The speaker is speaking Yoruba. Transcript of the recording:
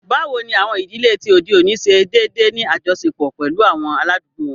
Bawo ni awọn idile ti ode oni ṣe deede ni ajọṣepọ pẹlu awọn aladugbo wọn?